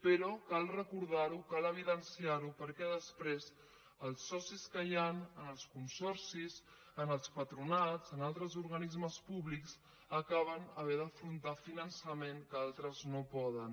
però cal recordar ho cal evidenciar ho perquè després els socis que hi han en els consorcis en els patronats en altres organismes públics acaben havent d’afrontar finançament que altres no poden